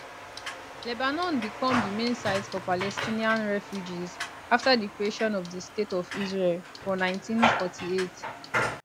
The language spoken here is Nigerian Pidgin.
lebanon become di main site for palestinian refugees afta di creation of di state of israel for 1948